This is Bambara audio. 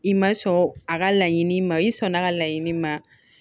I ma sɔn a ka laɲini ma i sɔnna ka laɲini ma